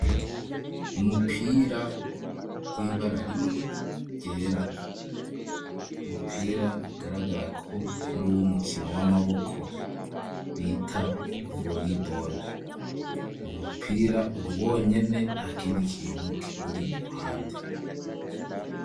Umupira w'ibara rimwe ryera umupira bigaragara ko ari uwo mukino w'amaboko bita volleyball uwo mupira uri wonyene nta kindi kintu kiwuri iruhande.